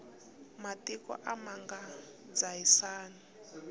matiko a ma nga dzahisani